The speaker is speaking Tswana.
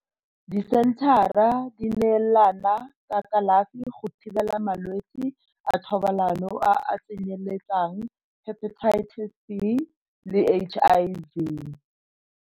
Disenthara di neelana ka kalafi go thibela malwetsi a thobalano a a tsenyeletsang Hepatitis B le HIV.